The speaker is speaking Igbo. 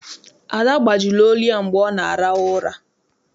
Ada gbajiri olu ya mgbe ọ na-arahu ụra.